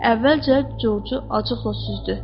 Əvvəlcə Corcu acıqla süzdü.